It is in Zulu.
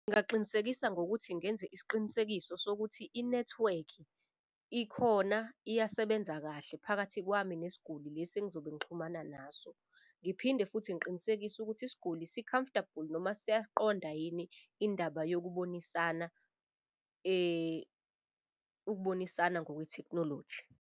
Ngingaqinisekisa ngokuthi ngenze isiqinisekiso sokuthi inethiwekhi ikhona iyasebenza kahle phakathi kwami nesiguli lesi engizobe ngixhumana naso. Ngiphinde futhi ngiqinisekise ukuthi isiguli si-comfortable noma siyaqonda yini indaba yokubonisana ukubonisana ngokwe thekhnoloji.